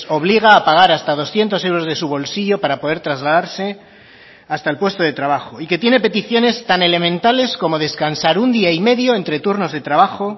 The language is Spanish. obliga a pagar hasta doscientos euros de su bolsillo para poder trasladarse hasta el puesto de trabajo y que tiene peticiones tan elementales como descansar un día y medio entre turnos de trabajo